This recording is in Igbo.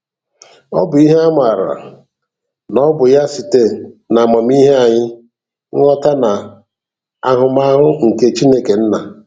Ọ bụ ihe a maara na ọ bụ ya site n'amamihe anyị, nghọta na ahụmahụ nke Chineke Nna.